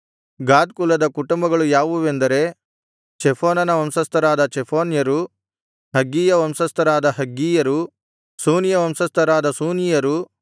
ಗಾದ್ ಕುಲದ ಕುಟುಂಬಗಳು ಯಾವುವೆಂದರೆ ಚೆಫೋನನ ವಂಶಸ್ಥರಾದ ಚೆಫೋನ್ಯರು ಹಗ್ಗೀಯ ವಂಶಸ್ಥರಾದ ಹಗ್ಗೀಯರು ಶೂನೀಯ ವಂಶಸ್ಥರಾದ ಶೂನೀಯರು